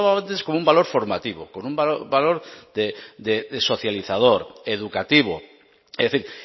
antes con un valor formativo con un valor de socializador educativo es decir